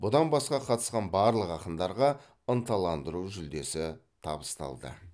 бұдан басқа қатысқан барлық ақындарға ынталандыру жүлдесі табысталды